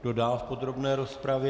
Kdo dál v podrobné rozpravě?